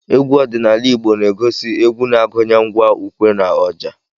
Egwu ọdịnala Igbo na-egosi egwú na-agụnye ngwa ukwé na ọjà.